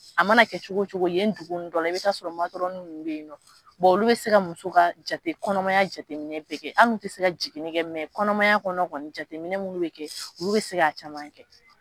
A mana kɛ cogo cogo yen dugu nugu dɔ la i bɛ ta sɔrɔ matɔrɔni nunnu bɛ yen nɔ, olu bɛ se ka muso ka jate kɔnɔmaya jateminɛ bɛ kɛ, an d'u tɛ se ka jigini kɛ kɔnɔmaya kɔnɔ kɔni jateminɛ minnu bɛ kɛ olu bɛ se ka caman kɛ.